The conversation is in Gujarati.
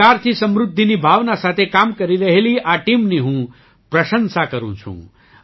સહકારથી સમૃદ્ધિની ભાવના સાથે કામ કરી રહેલી આ ટીમની હું પ્રશંસા કરું છું